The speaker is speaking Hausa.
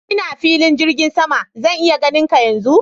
Ina filin jirgin sama, zan iya ganin ka yanzu?